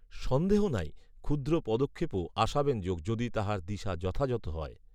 সন্দেহ নাই, ক্ষুদ্র পদক্ষেপও আশাব্যঞ্জক, যদি তাহার দিশা যথাযথ হয়